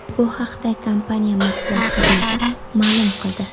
Bu haqda kompaniya matbuot xizmati ma’lum qildi .